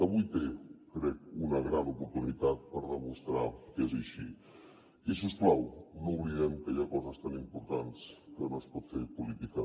avui té crec una gran oportunitat per demostrar que és així i si us plau no oblidem que hi ha coses tan importants que no es pot fer política